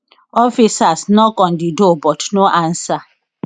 officers knock on di door but no answer